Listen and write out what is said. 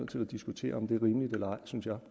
til at diskutere om det er rimeligt eller